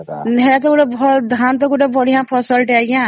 ଏହା ତ ଗୋଟେ ଧାନ ତେ ଗୋଟେ ବଢିଆ ଫସଲ ଟେ ଆଂଜ୍ଞା